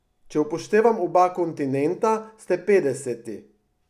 Če upoštevam oba kontinenta, ste petdeseti.